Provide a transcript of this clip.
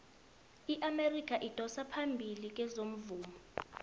iamerika idosa phambili kezomvumo